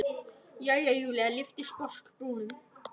Jæja, Júlía lyfti sposk brúnum.